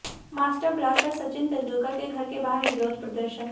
master blaster Sachin Tendulkar के घर के बाहर विरोध प्रदर्शन